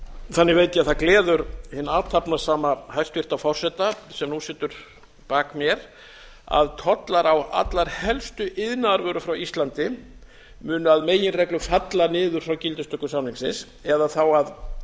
þannig veit ég að það gleður hinn athafnasama hæstvirts forseta sem nú situr bak mér að tollar á allar helstu iðnaðarvörur frá íslandi munu að meginreglu falla niður frá gildistöku samningsins eða þá í